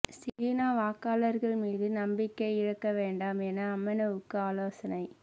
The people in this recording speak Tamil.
சீன வாக்காளர்கள் மீது நம்பிக்கை இழக்க வேண்டாம் என அம்னோவுக்கு ஆலோசனை